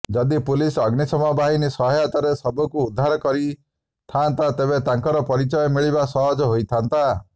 ଯଦି ପୁଲିସ ଅଗ୍ନିଶମ ବାହିନୀ ସହାୟତାରେ ଶବକୁ ଉଦ୍ଧାର କରିଥାଆନ୍ତା ତେବେ ତାଙ୍କର ପରିଚୟ ମିଳିବା ସହଜ ହୋଇଥାଆନ୍ତା